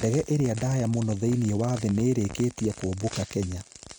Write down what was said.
Ndege ĩrĩa ndaaya mũno thĩinĩ wa thĩ nĩ ĩĩrĩkĩtie kũmbũka Kenya